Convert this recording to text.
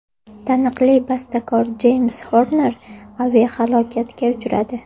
Taniqli bastakor Jeyms Xorner aviahalokatga uchradi.